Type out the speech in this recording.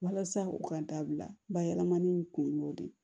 Walasa u ka dabila bayɛlɛmani in kun y'o de ye